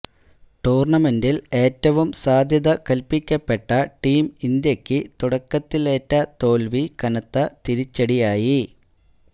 ടൂര്ണമെന്റില് ഏറ്റവും സാധ്യത കല്പ്പിക്കപ്പെട്ട ടീം ഇന്ത്യക്ക് തുടക്കത്തിലേറ്റ തോല്വി കനത്ത തിരിച്ചടിയായി